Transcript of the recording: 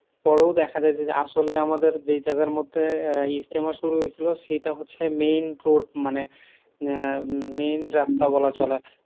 পরেও দেখা যে আসলে আমাদের যেই যাগার মধ্যে ইজতেমা আহ শুরু হয়ছিল, সেইটা হচ্ছে main road মানে আহ main রাস্তা বলা চলে।